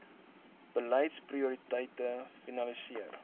beleids prioriteite finaliseer